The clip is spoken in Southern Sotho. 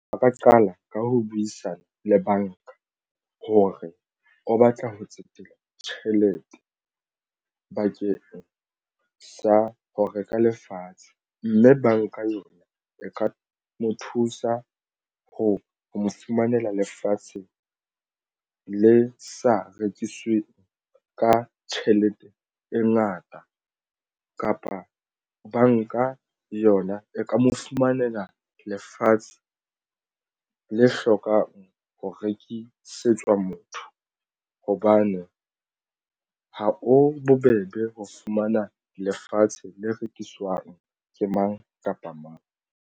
A ka qala ka ho buisana le banka ho re o batla ho tsetela tjhelete bakeng sa ho reka lefatshe mme banka yona e ka mo thusa ho mo fumanela lefatshe le sa rekisweng ka tjhelete e ngata kapa banka yona e ka mo fumanela lefatshe le hlokang ho rekisetswa motho hobane ha o bobebe ho fumana lefatshe le rekiswang ke mang kapa mang.